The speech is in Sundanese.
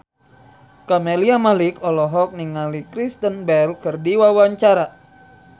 Camelia Malik olohok ningali Kristen Bell keur diwawancara